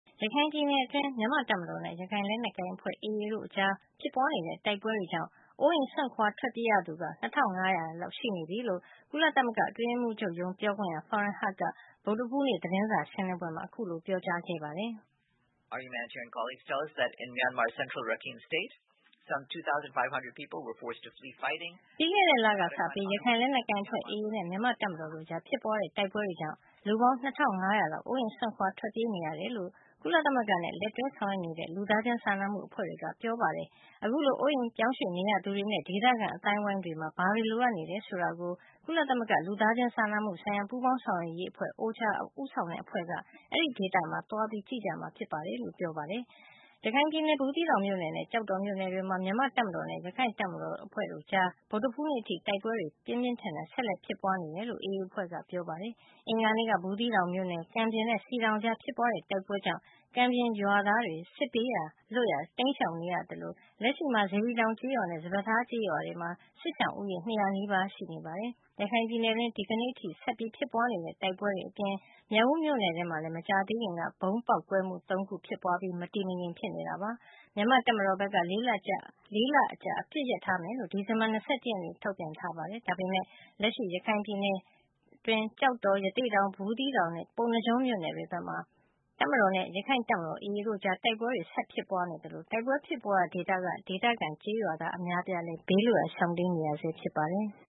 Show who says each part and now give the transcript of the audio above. Speaker 1: ရခိုင်ပြည်နယ်အတွင်း မြန်မာ့တပ်မတော်နဲ့ ရခိုင့်တပ်မတော် AA တို့အကြား ဖြစ်ပွါးနေတဲ့ တိုက်ပွဲတွေကြောင့် အိုးအိမ်စွန့်ခွါ ထွက်ပြေးရသူ ၂၅၀၀ ကျော်နေပြီလို့ ကုလသမဂ္ဂ အတွင်းရေးမှုးချုပ်ရုံး ပြောခွင့်ရ Farhan Haq က ဗုဒ္ဓဟူးနေ့ သတင်းစာ ရှင်းလင်းပွဲမှာ ပြောပါတယ်။ “ပြီးခဲ့တဲ့ လကစပြီး ရခိုင်လက်နက်ကိုင်အဖွဲ့ AA နဲ့ မြန်မာ့ တပ်မတော်တို့ကြား ဖြစ်ပွါးတဲ့ တိုက်ပွဲတွေကြောင့် လူပေါင်း ၂၅၀၀ လောက် အိုးအိမ်စွန့်ခွါ ထွက်ပြေး နေရတယ်လို့ ကုလသမဂ္ဂနဲ့ လက်တွဲဆောင်ရွက်နေတဲ့ လူသားချင်း စာနာမှုအဖွဲ့တွေက ပြောပါတယ်။ အခုလို အိုးအိမ်ရွှေ့ပြောင်း နေထိုင်ရသူတွေနဲ့ ဒေသခံအသိုင်းဝိုင်းမှာ ဘာတွေ လိုအပ်နေတယ် ဆိုတာကို ကုလသမဂ္ဂ လူသားချင်းစာနာမှု ဆိုင်ရာ ပူးပေါင်း ဆောင်ရွက်ရေးအဖွဲ့ OCHA ဦးဆောင်တဲ့ အဖွဲ့က အဲဒီဒေသမှာ သွားကြည့်မှာ ဖြစ်ပါတယ်။” ရခိုင်ပြည်နယ် ဘူးသီးတောင်မြို့နယ်နဲ့ ကျောက်တော်မြို့နယ်တွေမှာ မြန်မာ့တပ်မတော်နဲ့ ရခိုင့်တပ်မတော် AA အဖွဲ့တို့ကြား ဗုဒ္ဓဟူးနေ့အထိ တိုက်ပွဲတွေ ပြင်းထန်စွာ ဆက်လက် ဖြစ်ပွါးနေဆဲ ဖြစ်ကြောင်း AA အဖွဲ့က ပြောပါတယ်။ အင်္ဂါနေ့က ဘူးသီးတောင်မြို့နယ် ကံပြင်နဲ့ စည်တောင် ကြားဖြစ်ပွါးတဲ့ တိုက်ပွဲတွေကြောင့် ကံပြင်ရွာသားတွေ စစ်ဘေး လွတ်ရာ တိမ်းရှောင်နေကြရ သလို လက်ရှိမှာတော့ စေတီတောင် ကျေးရွာနဲ့ စပါးထား ကျေးရွာမှာ စစ်ရှောင်ဦးရေ (၂၀၀) နီးပါးရှိနေတယ်လို့ စေတီတောင်ကျေးရွာ အုပ်ချုပ်ရေးမှူးက ဗွီအိုအေကို ပြောပါတယ်။ ရခိုင်ပြည်နယ်အတွင်းမှာ ဒီကနေ့အထိ ဆက်လက်ဖြစ်ပွါးနေတဲ့ တိုက်ပွဲတွေအပြင် မြောက်ဦး မြို့နယ်တွင်းမှာလည်း မကြာသေးခင်ကပဲ ဗုံးပေါက်ကွဲမှု ၃ ခု ဖြစ်ပွါးခဲ့တာပါ။ မြန်မာ့တပ်မတော်ဘက်က (၄) လကြာ အပစ်ရပ်ထားမယ်လို့ ဒီဇင်ဘာ ၂၁ ရက်နေ့မှာ ထုတ်ပြန်ထားပါတယ်။ ဒါပေမဲ့ လက်ရှိ ရခိုင်ပြည်နယ် ကျောက်တော်၊ ရသေ့တောင်၊ ဘူးသီးတောင်နဲ့ ပုဏ္ဏားကျွန်းမြို့နယ် တွေဘက်မှာ တပ်မတော်နဲ့ ရခိုင့်တပ်မတော် AA တို့ အကြား တိုက်ပွဲတွေ ဆက်လက် ဖြစ်ပွါးနေဆဲဖြစ်သလို တိုက်ပွဲဖြစ်ပွါးရာ ဒေသတွေက ဒေသခံကျေးရွာသား အများအပြားလည်း ဘေးလွတ်ရာ တိမ်းရှောင် နေရဆဲ ဖြစ်ပါတယ်။